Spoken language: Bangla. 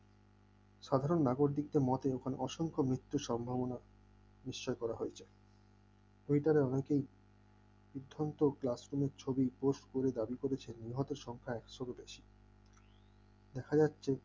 সাধারণ নাগরিকদের মতে ওখানে অসংখ্য মৃত্যুর সম্ভাবনা নিশ্চয়ই করা হয়েছে বিধসত্ত্ব classroom এর ছবি post করে দাবি করেছেন নিহত সংখ্যা একশোরও বেশি দেখা যাচ্ছে ।